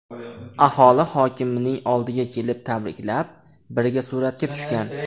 Aholi hokimning oldiga kelib, tabriklab, birga suratga tushgan.